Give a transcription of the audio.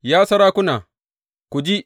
Ya sarakuna, ku ji!